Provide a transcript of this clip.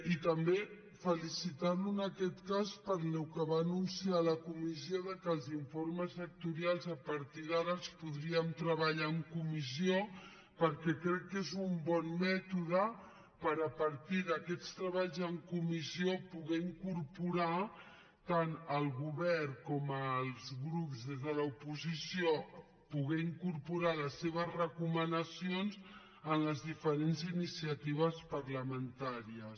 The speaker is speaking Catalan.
i també felicitarlo en aquest cas pel que va anunciar a la comissió que els informes sectorials a partir d’ara els podríem treballar en comissió perquè crec que és un bon mètode per a partir d’aquests treballs en comissió poder incorporar tant el govern com els grups des de l’oposició les seves recomanacions en les diferents iniciatives parlamentàries